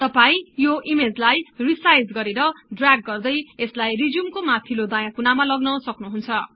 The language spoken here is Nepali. तपाई यो ईमेजलाई रिसाईज गरेर द्रराग गर्दै यसलाई रिज्युम को माथिल्लो दायाँ कुनामा लग्न सक्नुहुन्छ